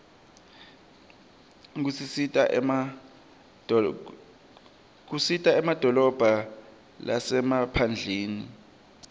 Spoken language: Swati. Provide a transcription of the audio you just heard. kisita emadolobha lasemaphndleni